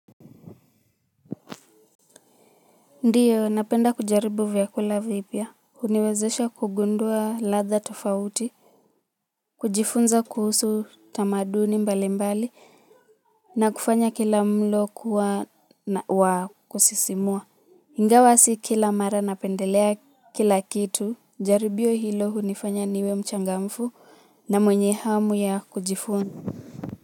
Ndiyo napenda kujaribu vyakula vipya, uniwezesha kugundua ladha tofauti, kujifunza kuhusu tamaduni mbali mbali. Na kufanya kila mlo kuwa wakusisimua ingawa si kila mara napendelea kila kitu, jaribio hilo hunifanya niwe mchangamfu na mwenye hamu ya kujifunza.